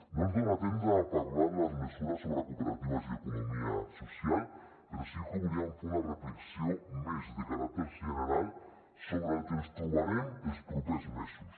no ens dona temps de parlar de les mesures sobre cooperatives i economia social però sí que volíem fer una reflexió més de caràcter general sobre el que ens trobarem els propers mesos